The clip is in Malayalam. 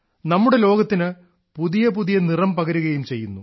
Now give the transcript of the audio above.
നമ്മുടെ ലോകത്തിനു പുതിയ പുതിയ നിറം പകരുകയും ചെയ്യുന്നു